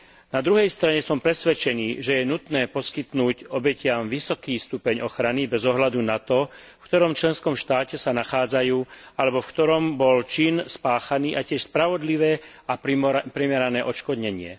Na druhej strane som presvedčený, že je nutné poskytnúť obetiam vysoký stupeň ochrany bez ohľadu na to, v ktorom členskom štáte sa nachádzajú alebo v ktorom bol čin spáchaný, a tiež spravodlivé a primerané odškodnenie.